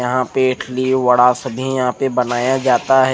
यह पे इडली वडा यहा पे बनाया जाता है।